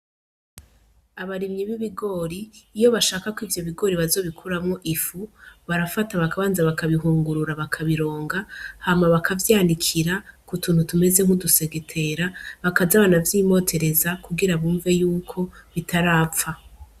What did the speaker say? Abarimyi b'ibigori, iyo bashaka ko ivyo bigori bazobikuramwo ifu, barafata bakabanza bakabihungurura bakabironga, hama bakavyanikira ku tuntu tumeze nk'udusegetera, bakaza baravyimotereza kugira bumve y'uko bitarapfa.